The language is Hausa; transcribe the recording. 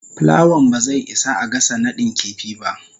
plawan ba zai isa a gasa nadin kifi ba.